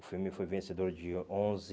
O filme foi vencedor de onze